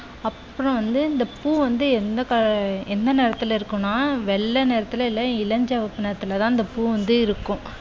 அப்புறம் வந்து இந்த பூ வந்து எந்த க~எந்த நிறத்தில் இருக்கும்னா வெள்ளை நிறத்தில் இல்ல இளஞ்சவப்பு நிறத்தில் தான் பூ வந்து இருக்கும்.